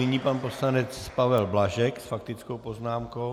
Nyní pan poslanec Pavel Blažek s faktickou poznámkou.